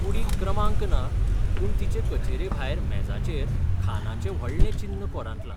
कुडीक क्रमांक ना, पूण तिचे कचेरे भायर मेजाचेर खानाचें व्हडलें चिन्न कोरांतलां.